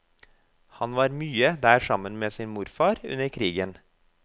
Han var mye der sammen med sin morfar under krigen.